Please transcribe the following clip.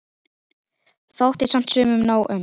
Þótti samt sumum nóg um.